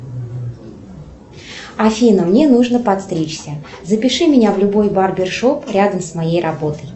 афина мне нужно подстричься запиши меня в любой барбершоп рядом с моей работой